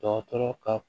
Dɔgɔtɔrɔ ka